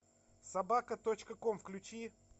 собака точка ком включи